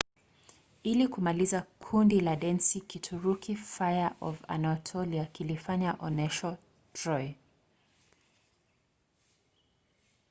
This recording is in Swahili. ili kumalizia kundi la densi la kituruki fire of anatolia kilifanya onyesho troy